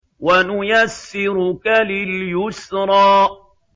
وَنُيَسِّرُكَ لِلْيُسْرَىٰ